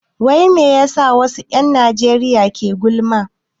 Wai me yasa wasu 'yan Najeriya ke gulma?